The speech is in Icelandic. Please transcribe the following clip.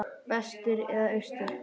Vestur eða austur?